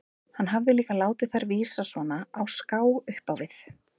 Hann hafði líka látið þær vísa svona á ská upp á við.